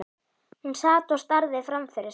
Hún sat og starði framfyrir sig.